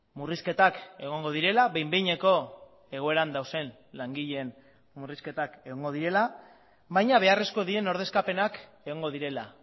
murrizketak egongo direla behin behineko egoeran dauden langileen murrizketak egongo direla baina beharrezkoak diren ordezkapenak egongo direla